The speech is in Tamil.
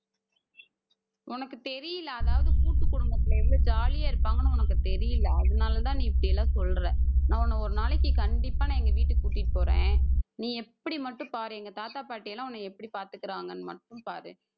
உனக்கு தெரியல. அதாவது கூட்டு குடும்பத்தில எவ்ளோ jolly யா இருப்பாங்கன்னு உனக்கு தெரியலை. அதனாலதான் நீ இப்படி எல்லாம் சொல்ற நான் உன்னை ஒரு நாளைக்கு கண்டிப்பா நான் எங்க வீட்டுக்கு கூட்டிட்டு போறேன் நீ எப்படி மட்டும் பாரு எங்க தாத்தா பாட்டி எல்லாம் உன்னை எப்படி பார்த்துக்கிறாங்கன்னு மட்டும் பாரு.